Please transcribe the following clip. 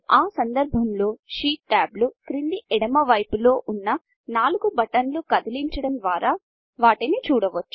ఆ సందర్భంలో షీట్ టాబ్లు క్రింది ఎడమ వైపు లో ఉన్నా నాలుగు బటన్లు కదిలించడం ద్వారా వాటిని చూడవచ్చు